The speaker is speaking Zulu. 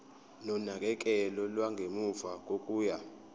nonakekelo lwangemuva kokuya